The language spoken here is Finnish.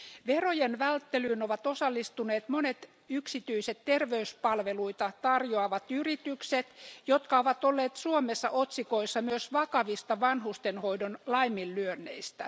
Verojen välttelyyn ovat osallistuneet monet yksityiset terveyspalveluita tarjoavat yritykset, jotka ovat olleet Suomessa otsikoissa myös vakavista vanhustenhoidon laiminlyönneistä.